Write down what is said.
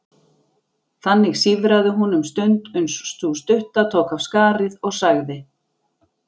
Þannig sífraði hún um stund uns sú stutta tók af skarið og sagði